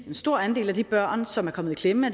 at en stor andel af de børn som er kommet i klemme